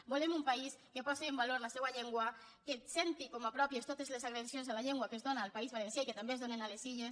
volem un país que posi en valor la seua llengua que senti com a pròpies totes les agressions a la llengua que es donen al país valencià i que també es donen a les illes